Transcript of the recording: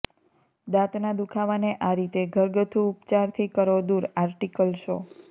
દાંતના દુખાવાને આ રીતે ઘરગથ્થુ ઉપચારથી કરો દૂર આર્ટિકલ શો